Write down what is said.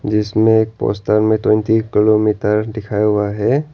इसमें एक पोस्टर में ट्वेंटी किलोमीटर दिखाया हुआ है।